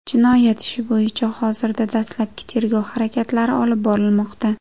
Jinoyat ishi bo‘yicha hozirda dastlabki tergov harakatlari olib borilmoqda.